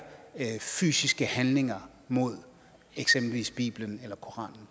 fysiske handlinger mod eksempelvis bibelen eller koranen